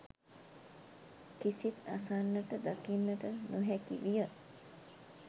කිසිත් අසන්නට දකින්නට නොහැකි විය